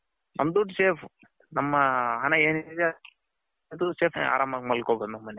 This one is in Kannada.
ನಮ್ಮ ದುಡ್ಡು safe ನಮ್ಮ ಹಣ ಏನೇನ್ ಇದ್ಯೋ ಅದು safe ಆರಾಮಾಗಿ ಮಲ್ಕೊಬೌದು ನಮ್ಮ ಮೆನೆಲ್ಲಿ .